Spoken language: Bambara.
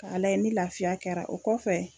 Ka alayi ni laafiya kɛra o kɔfɛ